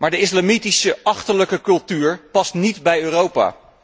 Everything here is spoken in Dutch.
Maar de islamitische achterlijke cultuur past niet bij Europa.